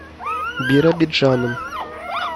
биробиджаном